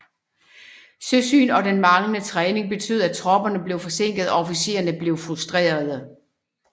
Søsygen og den manglende træning betød at tropperne blev forsinket og officererne blev frustrerede